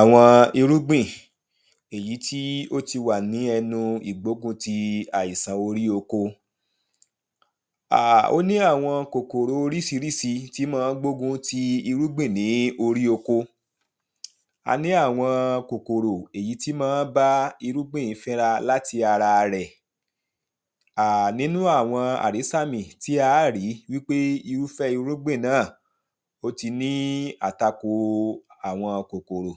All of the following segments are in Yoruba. àwọn irúgbìn èyí tí ó ti wà ní ẹnu ìgbóguntì àìsan orí oko ó ní àwọn kòkòro oríṣiríṣi tí mọ ọ́n gbógun ún ti irúgbìn ní orí oko a ní àwọn kòkòrò èyí tí mọn ọ́n bá irúgbìn fínra láti ara rẹ̀ nínú àwọn àrísàmì tí aá rí wípé irúfẹ́ irúgbìn náà ó ti ní àtakò àwọn kòkòrò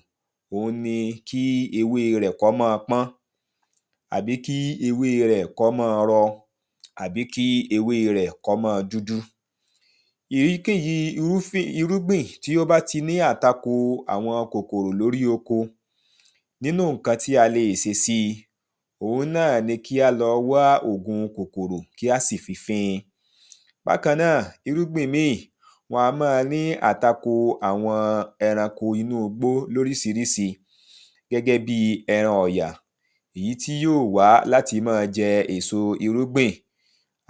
òhun ni kí ewée rẹ̀ kọ́ mọ́n ọn pọ́n àbí kí ewée rẹ̀ kọ́ mọ́n ọn rọ, àbí kí ewée rẹ̀ kọ́ mọ́n ọn dúdú ìyíkéyìí irúgbìn tí ó bá ti ní àtakò àwọn kòkòrò lórí oko, nínú ǹkan tí a leè se síi òhun náà ni kí á lọ wá ògun kòkòrò kí á sì fi fín in bákan náà, irúgbìn míì, wọn a mọ́n ọn ní àtakò àwọn ẹranko inúugbó lóríṣiríṣi gẹ́gẹ́ bíi ẹran ọ̀yà èyí tí yóó wá láti mọ́n ọn jẹ èso irúgbìn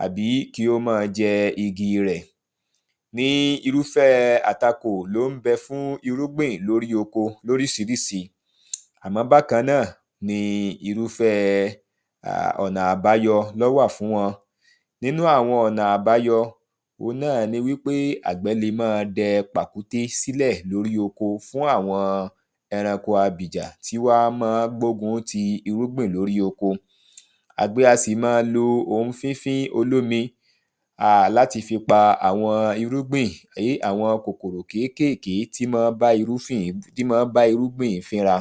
àbí kí ó mọ́n ọn jẹ igi rẹ̀ ní irúfẹ́ẹ àtakò ló ń bẹ fún irúgbìn lórí oko lóríṣiríṣi àmọ́ bákan náà ni irúfẹ́ẹ ọ̀nà àbáyọ ló wà fún wọn nínú àwọn ọ̀nà àbáyọ òhun náà ni wípé àgbẹ́ le mọ́n ọn dẹ pàkúté sílẹ̀ lórí oko fún àwọn ẹranko abìjà tí wá mọn ọ́n gbógun ún ti irúgbìn lórí oko àgbẹ̀ a sì mọ́n ọn lo ohun fífín olómi láti fi pa àwọn kòkòrò kékèké tí mọn ọ́n bá irúgbìn fínra